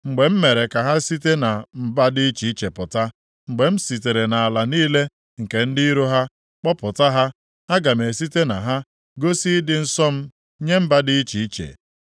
Mgbe m mere ka ha site na mba dị iche iche pụta, mgbe m sitere nʼala niile nke ndị iro ha kpọpụta ha, aga m esite na ha gosi ịdị nsọ m nye mba dị iche iche.